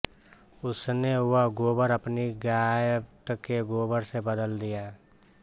उसने वह गोबर अपनी गाय्त के गोबर से बदल दिया